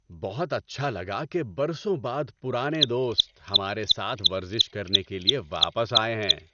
بہت اچھا لگا کہ برسوں بعد پرانے دوست ہمارے ساتھ ورزش کرنے کے لیے واپس آئے ہیں۔